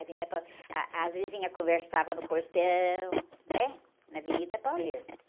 A avenida pa, ah, as vizinhas conversavam no portão, né? Na Avenida Paulista.